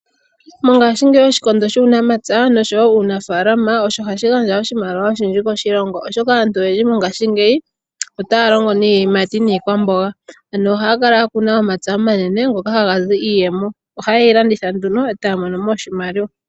Mongashingeyi oshikondo shuunamapya nosho wo uunafalama osho hashi gandja oshimaliwa oshindji koshilongo, oshoka aantu oyendji mongashingeyi otaya longo niiyimati niikwamboga. Ano ohaya kal ya kuna omapya omanene ngoka haga zi iiyemo Ohaye yi landitha nduno e taya mono mo oshimaliwa.